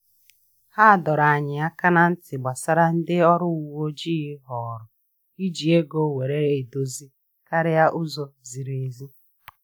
Ha dọrọ anyị aka na-ntị gbasara ndị ọrụ uwe ojii họọrọ iji ego were edozi karịa ụzọ ziri ezi